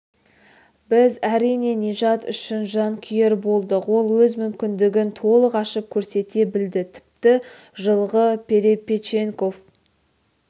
біз әрине нижат үшін жанкүйер болдық ол өз мүмкіндігін толық ашып көрсете білді тіпті жылғы перепеченков